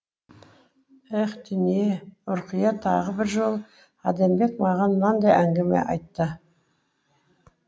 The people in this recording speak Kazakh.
еһ дүние е ұрқия тағы бір жолы адамбек маған мынадай әңгіме айтты